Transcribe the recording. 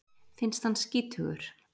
Finnst hann skítugur.